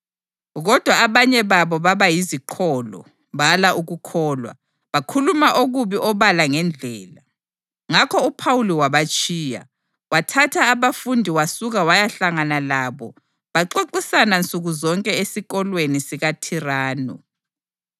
Kodwa abanye babo baba yiziqholo; bala ukukholwa, bakhuluma kubi obala ngeNdlela. Ngakho uPhawuli wabatshiya. Wathatha abafundi wasuka wayahlangana labo baxoxisana nsuku zonke esikolweni sikaThiranu.